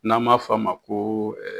N'an baa f'a ma ko